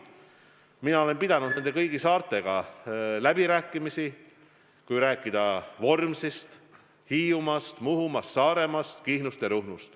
Mina olen pidanud kõigi saartega läbirääkimisi – ma räägin Vormsist, Hiiumaast, Muhumaast, Saaremaast, Kihnust ja Ruhnust.